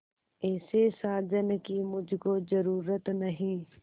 ऐसे साजन की मुझको जरूरत नहीं